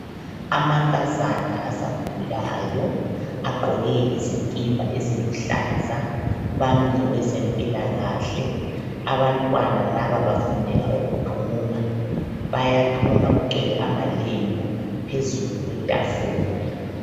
Amankazana asakhulayo agqoke izikipa eziluhlaza, bami lowezempilalakahle. Abantwana laba bafundela ukuthunga, bayathunga kungcwele amalembu phezulu kwetafula.